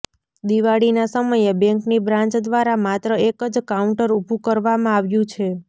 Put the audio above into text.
દિવાળીના સમયે બેંકની બ્રાન્ચ દ્વારા માત્ર એક જ કાઉન્ટર ઉભુ કરવામાં આવ્યુ છે